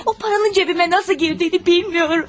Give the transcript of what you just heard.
O pulun cibimə necə girdiyini bilmirəm.